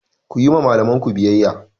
Ku yi wa malamanku biyayya!